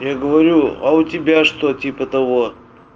я говорю а у тебя что типа того